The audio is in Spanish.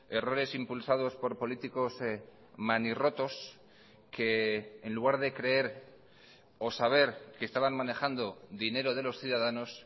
errores impulsados por políticos manirrotos que en lugar de creer o saber que estaban manejando dinero de los ciudadanos